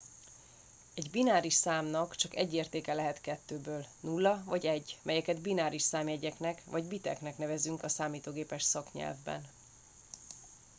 egy bináris számnak csak egy értéke lehet kettőből 0 vagy 1 melyeket bináris számjegyeknek vagy biteknek nevezünk a számítógépes szaknyelvben